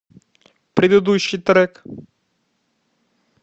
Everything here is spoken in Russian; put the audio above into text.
предыдущий трек